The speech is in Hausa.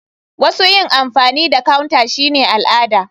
Wasu yin amfani da counter shine al'ada.